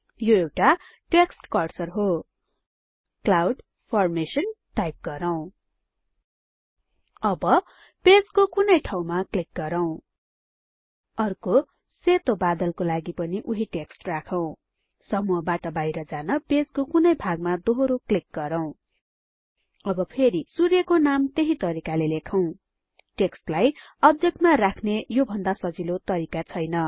यो एउटा text cursor हो क्लाउड फर्मेशन टाइप गरौँ अब पेजको कुनै ठाउँमा क्लिक गरौँ अर्को सेतो बादलको लागि पनि उहिँ टेक्स्ट राखौं समूहबाट बाहिर जान पेजको कुनै भागमा दोहोरो क्लिक गरौँ अब फेरी सूर्यको नाम त्यही तरिकाले लेखौँ टेक्स्टलाई अब्जेक्टमा राख्ने यो भन्दा सजिलो तरिका छैन